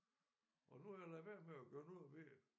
Og nu har jeg ladet være med at gøre noget ved det